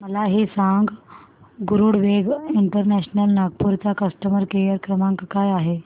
मला हे सांग गरुडवेग इंटरनॅशनल नागपूर चा कस्टमर केअर क्रमांक काय आहे